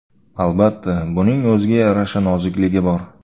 Albatta, buning o‘ziga yarasha nozikligi bor.